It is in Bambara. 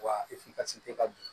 Wa ka bin